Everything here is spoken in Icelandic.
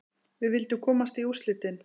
Við vildum komast í úrslitin.